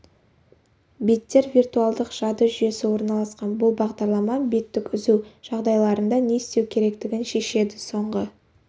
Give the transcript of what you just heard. беттер виртуалдық жады жүйесі орналасқан бұл бағдарлама беттік үзу жағдайларында не істеу керектігін шешеді соңғы